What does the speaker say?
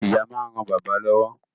Ìyá máa ń ran bàbá lọ́wọ́